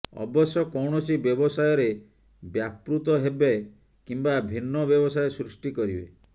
ଅବଶ୍ୟ କୌଣସି ବ୍ୟବସାୟରେ ବ୍ୟାପୃତ ହେବେ କିମ୍ୱା ଭିନ୍ନ ବ୍ୟବସାୟ ସୃଷ୍ଟି କରିବେ